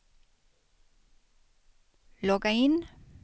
logga in